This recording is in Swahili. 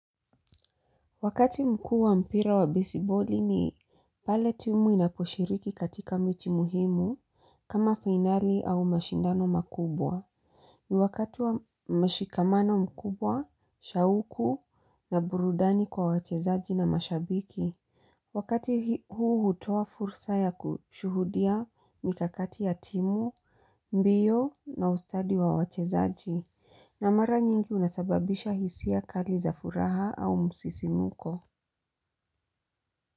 Wakati mkuu wa mpira wa baseball ni pale timu inaposhiriki katika miti muhimu kama finali au mashindano makubwa. Ni wakati wa mashikamano mkubwa, shauku na burudani kwa wachezaji na mashabiki. Wakati huu hutoa fursa ya kushuhudia mikakati ya timu, mbio na ustadi wa wachezaji na mara nyingi unasababisha hisia kali za furaha au msisimko.